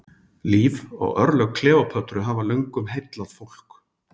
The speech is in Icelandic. Líf og örlög Kleópötru hafa löngum heillað fólk.